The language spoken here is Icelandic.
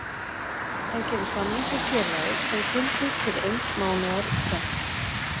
Hann gerir samning við félagið sem gildir til eins mánaðar í senn.